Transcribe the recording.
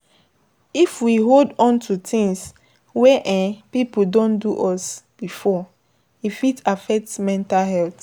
If we hold on to things wey um pipo don do us before, e fit affect mental health